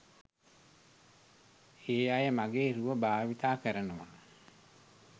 ඒ අය මගේ රුව භාවිත කරනවා.